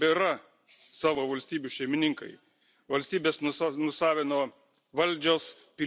Valstybes nusavino valdžios, piliečius palikdamos lauke už durų.